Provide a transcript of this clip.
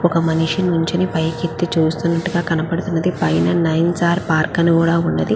ఒక మనిషి నించుని పైకెత్తి చూస్తునట్టుగా కనపడుతున్నది. పైన నయిన్సర్ పార్క్ అని కూడా ఉన్నది.